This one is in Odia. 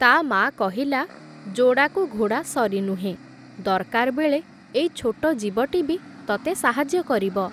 ତା ମାଆ କହିଲା, ଯୋଡ଼ାକୁ ଘୋଡ଼ା ସରି ନୁହେଁ, ଦର୍‌କାର୍ ବେଳେ ଏଇ ଛୋଟ ଜୀବଟି ବି ତତେ ସାହାଯ୍ୟ କରିବ ।